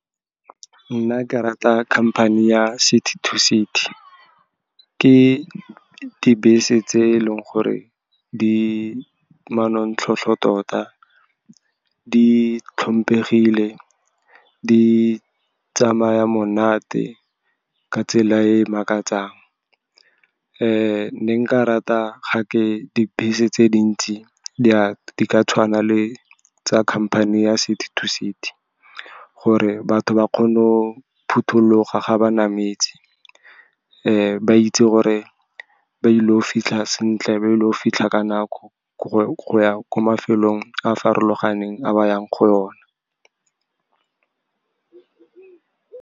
Nna ke rata khamphane ya City to City. Ke dibese tse e leng gore di manontlhotlho tota, di tlhomphegile, di tsamaya monate ka tsela e makatsang. Ne nka rata ga ke dibese tse dintsi di ka tshwana le tsa khamphane ya City to City, gore batho ba kgone go phuthologa ga ba nametse, ba itse gore ba ile go fitlha sentle, ba ile go fitlha ka nako go ya ko mafelong a farologaneng a ba yang go ona.